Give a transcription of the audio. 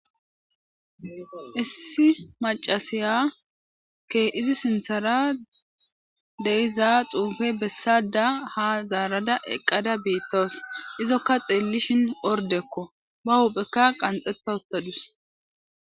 issi macasiya izi sinthara deyizaa xuufe bessada ha zaarada eqqada biittos izokka xeellishin ordekko ba huphekka qanxetta ottadus